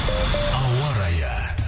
ауа райы